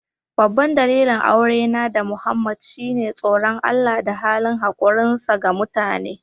Babban dalilin aurena da Muhammad shine tsoron Allah da halin hakurinsa ga mutane.